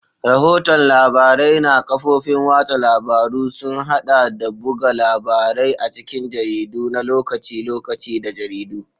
Rahoton labarai na kafofin watsa labaru sun haɗa da buga labarai a cikin jaridu na lokaci-lokaci da jaridu.